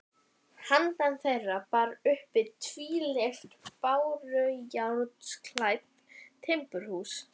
Handan þeirra bar uppi tvílyft bárujárnsklædd timburhús.